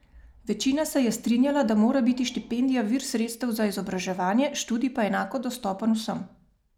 Večina se je strinjala, da mora biti štipendija vir sredstev za izobraževanje, študij pa enako dostopen vsem.